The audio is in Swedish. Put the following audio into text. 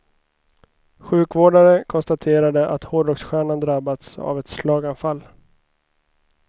Sjukvårdare konstaterade att hårdrocksstjärnan drabbats av ett slaganfall.